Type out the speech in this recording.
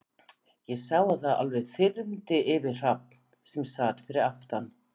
Ég sá að það alveg þyrmdi yfir Hrafn, sem sat fyrir aftan